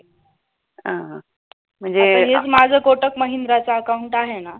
आता एक माझ कोटक महिंद्रा च account आहे ना.